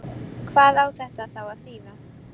Hvað á þetta þá að þýða?